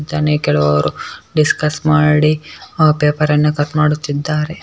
ಕೆಲವರು ಡಿಸ್ಕಸ್ ಮಾಡಿ ಪೇಪರ್ ಅನ್ನು ಕಟ್ ಮಾಡುತ್ತಿದ್ದಾರೆ .